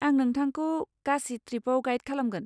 आं नोंथांखौ गासे ट्रिपआव गाइड खालामगोन।